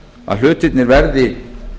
að hlutirnir verði